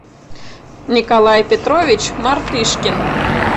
николай петрович мартышкин